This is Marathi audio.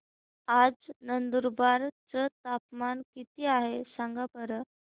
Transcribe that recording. आज नंदुरबार चं तापमान किती आहे सांगा बरं